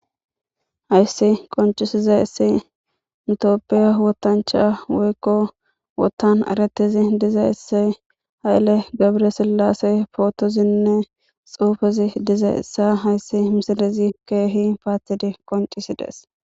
Hayssi qonccissizayssi nu toophphee woththanchchaa woykko woththan ereththizi dizayssi haile gebre silase phoothozinne tsuufezi dizayssa hassi misilezi keehi paaththidi qonccissi des.